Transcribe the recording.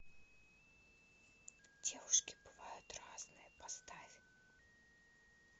девушки бывают разные поставь